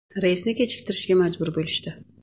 Reysni kechiktirishga majbur bo‘lishdi.